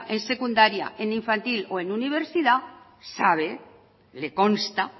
en secundaria en infantil o en universidad sabe le consta